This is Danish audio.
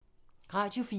Radio 4